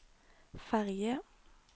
ferge